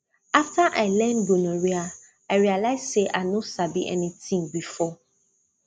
after i learn gonorrhea i realize say i no sabi anything before